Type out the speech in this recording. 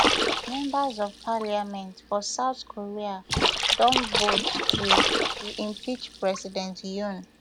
members of parliament for south korea don vote to to impeach president yoon